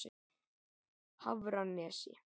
Hafranesi